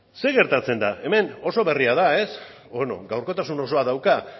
zer gertatzen da hemen oso berria da ez gaurkotasun osoa dauka ba